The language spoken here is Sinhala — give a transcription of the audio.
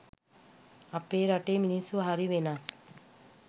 අපේ රටේ මිනිස්සු හරි වෙනස්